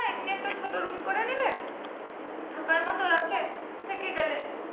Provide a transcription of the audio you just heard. থাকার মতো রাতে থেকে গেলে।